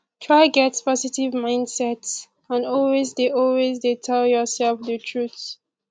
try get positive mindset and always de always de tell yourself di truth